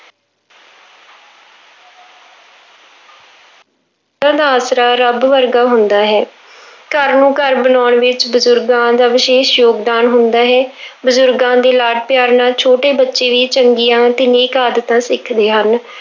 ਦਾ ਆਸਰਾ ਰੱਬ ਵਰਗਾ ਹੁੰਦਾ ਹੈ, ਘਰ ਨੂੰ ਘਰ ਬਣਾਉਣ ਵਿੱਚ ਬਜ਼ੁਰਗਾਂ ਦਾ ਵਿਸ਼ੇਸ਼ ਯੋਗਦਾਨ ਹੁੰਦਾ ਵਿੱਚ ਹੈ ਬਜ਼ੁਰਗਾਂ ਦੇ ਲਾਡ ਪਿਆਰ ਨਾਲ ਛੋਟੇ ਬੱਚੇ ਵੀ ਚੰਗੀਆਂ ਤੇ ਨੇਕ ਆਦਤਾਂ ਸਿੱਖਦੇ ਹਨ।